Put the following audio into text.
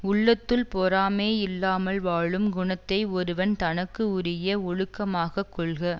உள்ளத்துள் பொறாமை இல்லாமல் வாழும் குணத்தை ஒருவன் தனக்கு உரிய ஒழுக்கமாகக் கொள்க